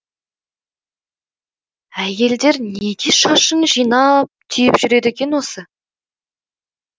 әйелдер неге шашын жинап түйіп жүреді екен осы